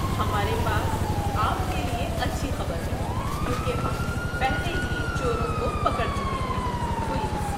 ہمارے پاس آپ کے لیے اچھی خبر ہے کیونکہ ہم پہلے ہی چوروں کو پکڑ چکے ہیں۔ (پولیس)